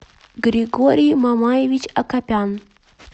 григорий мамаевич акопян